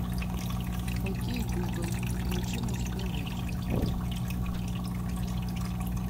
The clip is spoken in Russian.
окей гугл включи мужское женское